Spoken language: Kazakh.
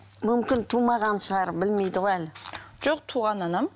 мүмкін тумаған шығар білмейді ғой әлі жоқ туған анам